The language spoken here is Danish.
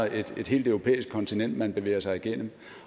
et helt europæisk kontinent man bevæger sig igennem